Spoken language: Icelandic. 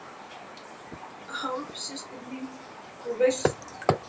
Hálfsystir mín, þú veist.